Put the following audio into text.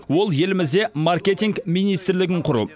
ол елімізде маркетинг министрлігін құру